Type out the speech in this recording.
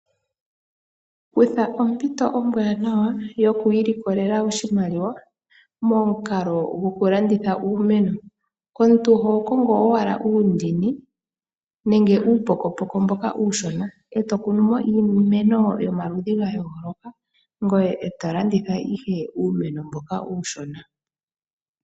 Kutha ompito ombaanawa yokwiilikolela oshimaliwa momukalo gokulanditha uumeno . Konga uundini nuupokopoko mboka uushona etokunumo iimeno yomaludhi gayooloka . Landitha woo uumeno mbuka uushona.